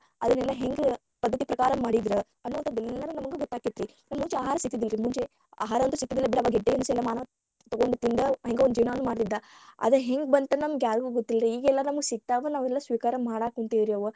ಅದನೆಲ್ಲಾ ಹೆಂಗ ಪದ್ಧತಿ ಪ್ರಕಾರ ಮಾಡಿದರ ಅನ್ನದೆಲ್ಲಾ ಎಲ್ಲಾನು ನಮಗ ಗೊತ್ತಕ್ಕೆತರಿ ನಮಗ ಮುಂಚೆ ಆಹಾರ ಸಿಗ್ತಿರಲಿಲ್ಲರೀ ಮುಂಚೆ ಆಹಾರ ಅಂತೂ ಸಿಗ್ತಿದಿಲ್ಲಾ ಬಿಡ ಗೆಡ್ಡೆ ಗೆಣಸಾನೋ ತೊಗೊಂಡ ತಿಂದ ಹೆಂಗೋ ಜೀವನಾನ ಮಾಡ್ತಿದ್ದಾ ಅದ ಹೆಂಗ ಬಂತ ನಮಗ ಯಾರಿಗೂ ಗೊತ್ತಿಲ್ಲರಿ ಇಗ ನಮಿಗ ಹೆಂಗು ಸಿಗ್ತಾವ ನಾವೆಲ್ಲರೂ ಸ್ವೀಕಾರ ಮಾಡಾಕುಂತೇವರಿ ಅವ.